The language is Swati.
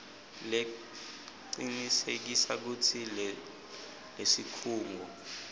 lecinisekisa kutsi lesikhungo